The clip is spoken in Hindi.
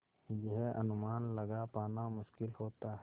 यह अनुमान लगा पाना मुश्किल होता है